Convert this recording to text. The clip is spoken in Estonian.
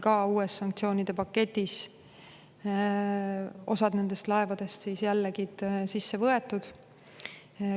Ka uues sanktsioonide paketis on osa nendest laevadest jällegi sisse võetud.